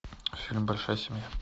фильм большая семья